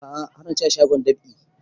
A'a har na ci a shagon dab'i